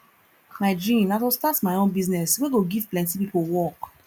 my dream na to start my own business wey go give plenty people work